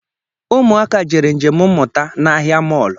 Ụmụaka jere njem mmụta n’ahịa mọlụ